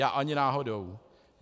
Já ani náhodou.